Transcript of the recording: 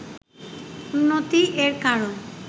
উন্নতি এর কারণ